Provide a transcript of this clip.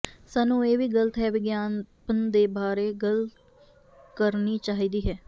ਸਾਨੂੰ ਇਹ ਵੀ ਗਲਤ ਹੈ ਵਿਗਿਆਪਨ ਦੇ ਬਾਰੇ ਗੱਲ ਕਰਨੀ ਚਾਹੀਦੀ ਹੈ